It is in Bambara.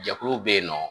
Jɛkuluw bɛ yen nɔ